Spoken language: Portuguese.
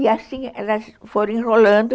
E assim elas foram enrolando.